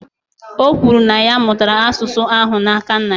O kwuru, na ya mụtara asụsụ ahụ n’aka nna ya